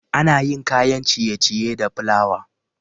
Ana yin kayan ciye-ciye da plawa